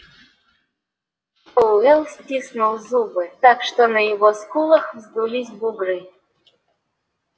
пауэлл стиснул зубы так что на его скулах вздулись бугры